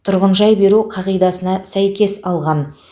тұрғынжай беру қағидасына сәйкес алған